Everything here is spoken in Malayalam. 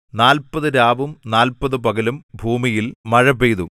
നാല്പത് രാവും നാല്പത് പകലും ഭൂമിയിൽ മഴ പെയ്തു